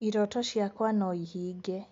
Iroto ciakwa noihinge